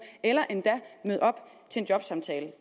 eller endda møde op til en jobsamtale